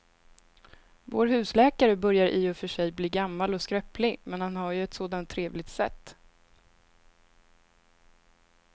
Vår husläkare börjar i och för sig bli gammal och skröplig, men han har ju ett sådant trevligt sätt!